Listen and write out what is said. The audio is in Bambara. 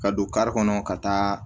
Ka don kari kɔnɔ ka taa